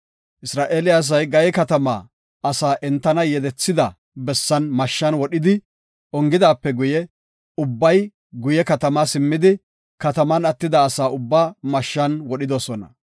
Isra7eele asay Gaye katamaa asa entana yedethida bessan mashshan wodhidi ongidaape guye, ubbay guye katamaa simmidi, kataman attida asaa ubbaa mashshan wodhidosona.